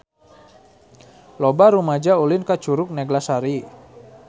Loba rumaja ulin ka Curug Neglasari